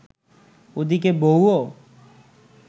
ওদিকে বউও